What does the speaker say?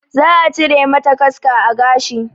Za a cire mata kaska a gashi